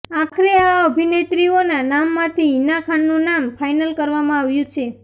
આખરે આ અભિનેત્રીઓના નામમાંથી હીના ખાનનું નામ ફાઇનલ કરવામાં આવ્યું છે